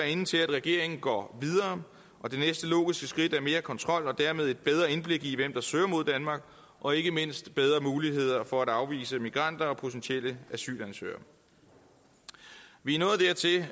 inde til at regeringen går videre og det næste logiske skridt er mere kontrol og dermed et bedre indblik i hvem der søger mod danmark og ikke mindst bedre muligheder for at afvise migranter og potentielle asylansøgere vi